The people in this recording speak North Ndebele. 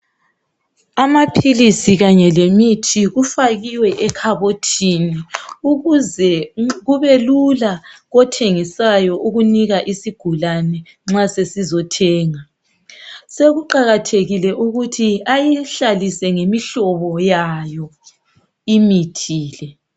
Amaphilisi kanye lemithi kufakiwe ekhabothini ukuze kubelula kothengisayo ukunika isigulani nxa sizothenga. Sekuqakathekile ukuthi ayihlalise ngemihlobo yayo imithi le.